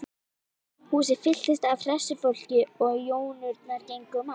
Húsið fylltist af hressu fólki og jónurnar gengu um allt.